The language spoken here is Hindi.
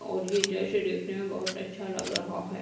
और ये जैसे देखने में बहोत अच्छा लग रहा है।